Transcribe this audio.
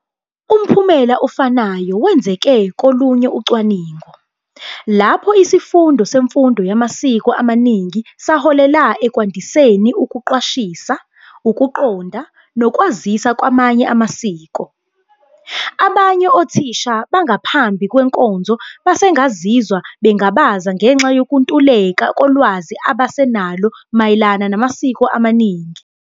Umphumela ofanayo wenzeke kolunye ucwaningo, lapho isifundo semfundo yamasiko amaningi saholela "ekwandiseni ukuqwashisa, ukuqonda, nokwazisa kwamanye amasiko." Abanye othisha bangaphambi kwenkonzo basengazizwa bengabaza ngenxa yokuntuleka kolwazi abasenalo mayelana namasiko amaningi.